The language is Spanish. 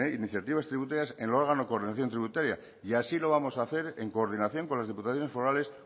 iniciativas tributarias en el órgano de coordinación tributaria y así lo vamos a hacer en coordinación con las diputaciones forales